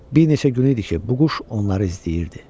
Bir neçə gün idi ki, bu quş onları izləyirdi.